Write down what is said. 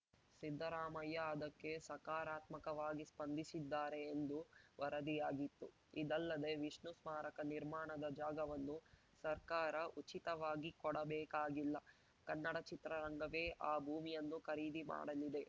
ಸಿದ್ದರಾಮಯ್ಯ ಅದಕ್ಕೆ ಸಕಾರಾತ್ಮಕವಾಗಿ ಸ್ಪಂದಿಸಿದ್ದಾರೆ ಎಂದು ವರದಿಯಾಗಿತ್ತು ಇದಲ್ಲದೇ ವಿಷ್ಣು ಸ್ಮಾರಕ ನಿರ್ಮಾಣದ ಜಾಗವನ್ನು ಸರ್ಕಾರ ಉಚಿತವಾಗಿ ಕೊಡಬೇಕಾಗಿಲ್ಲ ಕನ್ನಡ ಚಿತ್ರರಂಗವೇ ಆ ಭೂಮಿಯನ್ನು ಖರೀದಿ ಮಾಡಲಿದೆ